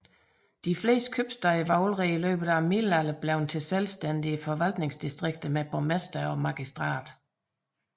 De fleste købstæder var allerede i løbet af middelalderen blevet selvstændige forvaltningsdistrikter med borgmester og magistrat